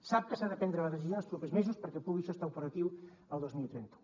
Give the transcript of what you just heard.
sap que s’ha de prendre la decisió en els propers mesos perquè pugui això estar operatiu el dos mil trenta u